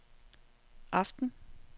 aften